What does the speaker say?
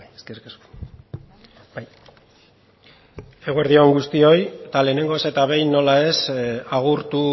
eskerrik asko eguerdi on guztioi eta lehenengoz eta behin nola ez agurtu